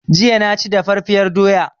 Jiya na ci daffafiyar doya